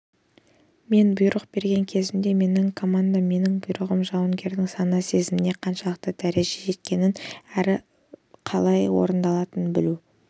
мен бұйрық берген кезімде менің командам менің бұйрығым жауынгердің сана-сезіміне қаншалықты дәрежеде жеткенін әрі бұйрықтың қалай орындалатынын білу